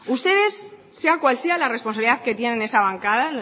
ustedes sea cual sea la responsabilidad que tienen en esa bancada